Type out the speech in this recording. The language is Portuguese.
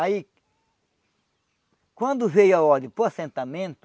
Aí... Quando veio a ordem para o assentamento,